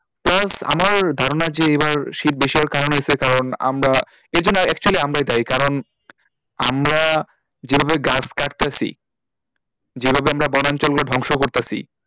Plus আমার ধারণা যে এবার শীত বেশি হওয়ার কারণ হচ্ছে কারণ আমরা এর জন্যে actually আমরাই দায়ী কারণ আমরা যেভাবে গাছ কাটতেছি যেভাবে আমরা বনাঞ্চল গুলো ধ্বংস করতাছি,